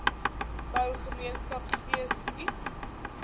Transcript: bou gemeenskapsgees iets